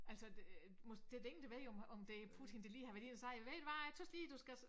Altså det øh det der ingen der ved om om det Putin der har været nede og sige ved du hvad jeg tøs lige du skal